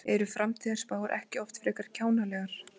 Eru framtíðarspár ekki oft frekar kjánalegar?